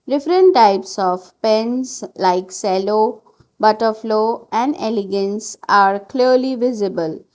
Different types of pens like cello butterflow and elegance are clearly visible.